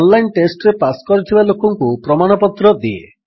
online ଟେଷ୍ଟରେ pass କରିଥିବା ଲୋକଙ୍କୁ ପ୍ରମାଣପତ୍ର ଦିଏ